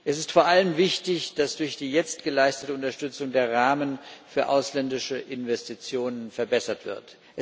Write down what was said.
Es ist vor allem wichtig, dass durch die jetzt geleistete Unterstützung der Rahmen für ausländische Investitionen verbessert wird.